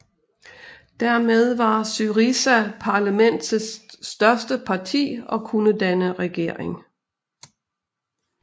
Dermed var SYRIZA parlamentets største parti og kunne danne regering